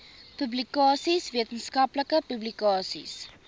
publikasies wetenskaplike publikasies